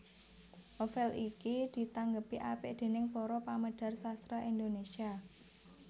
Novel iki ditanggepi apik déning para pamedhar sastra Indonesia